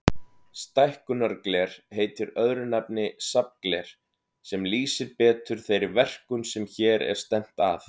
Stækkunargler heitir öðru nafni safngler, sem lýsir betur þeirri verkun sem hér er stefnt að.